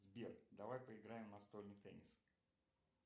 сбер давай поиграем в настольный теннис